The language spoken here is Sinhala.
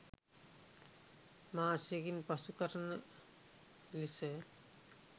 මාසයකින් පසු කරන ලෙස